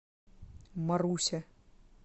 маруся